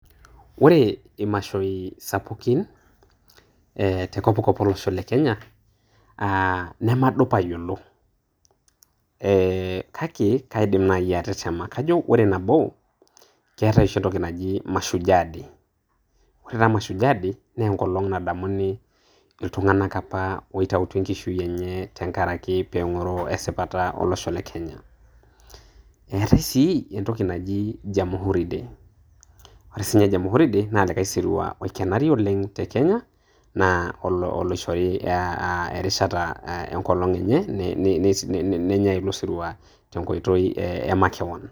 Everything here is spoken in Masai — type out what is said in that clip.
Ore imashoi sapukin te kopkop olosho le Kenya namadup ayiolou kake kaidim naaji atetema. Kajo ore nabo, keetai oshi entoki naji Mashujaa dei, ore taa Mashujaa day naa enkolong nademuni iltung'anak opa oitaituo enkishui enye tenkaraki pee eng'oru esipata olosho le Kenya. Eatai sii entoki naji Jamhuri day, ore siininye jamhuri day naa olikai sirua oikenari oleng' te kenya naa oloishori erishata eng'olong' enye, nenyai ele sirua te nkoitoi e makewon.